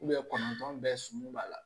kɔnɔntɔn bɛɛ sɔmi b'a la